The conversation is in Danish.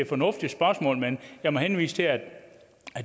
fornuftigt spørgsmål men jeg må henvise til at